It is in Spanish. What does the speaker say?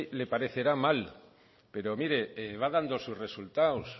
le parecerá mal pero mire va dando sus resultados